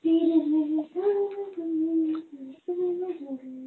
Background Noise